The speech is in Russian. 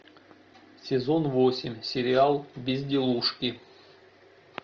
сезон восемь сериал безделушки